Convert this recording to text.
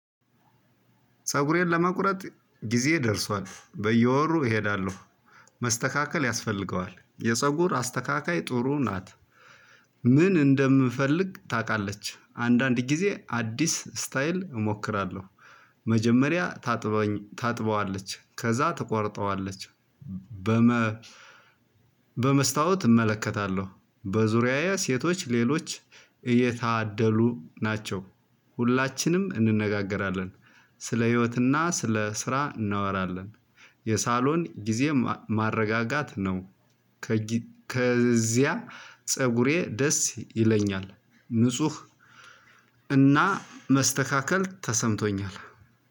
ፀጉሬን ለመቁረጥ ጊዜ ደርሷል በየወሩ እሄዳለሁ መስተካከል ያስፈልገዋል የፀጉር አስተካካይ ጥሩ ናት። ምን እንደምፈልግ ታውቃለች አንዳንድ ጊዜ አዲስ ስታይል እሞክራለሁ። መጀመሪያ ታጥበዋለች ከዛ ትቆርጠዋለች። በመ በመስታወት እመለከታለሁ በዙሪያዬ ሴቶች ሌሎች እየታደሉ ናቸው። ሁላችንም እንነጋገራለን ስለ ህይወትና ስለ ስራ እናወራለን። የሳሎን ጊዜ ማረጋጋት ነው። ከዚያ ፀጉሬ ደስ ይለኛል ንጹህ እና መስተካከል ተሰምቶኛል።